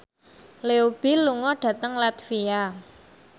Leo Bill lunga dhateng latvia